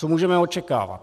Co můžeme očekávat?